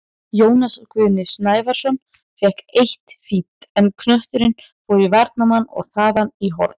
Jónas Guðni Sævarsson fékk eitt fínt, en knötturinn fór í varnarmann og þaðan í horn.